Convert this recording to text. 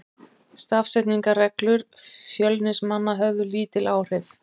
Stafsetningarreglur Fjölnismanna höfðu lítil áhrif.